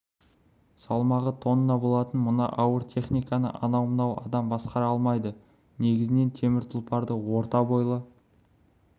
салмағы тонна болатын мына ауыр техниканы анау-мынау адам басқара алмайды негізінен темір тұлпарды орта бойлы